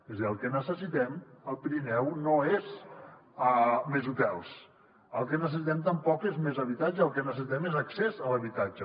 és a dir el que necessitem al pirineu no són més hotels el que necessitem tampoc és més habitatge el que necessitem és accés a l’habitatge